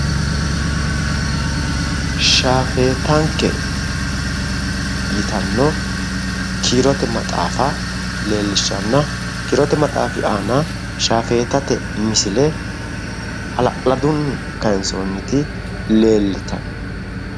Shaafeettanke yittano kiirote maxaaffa leelishanna kiirote maxxafi aanna shaafeettate misille halla'ladunni kayinsoonniti leelittano.